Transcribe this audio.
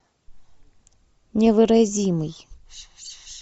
невыразимый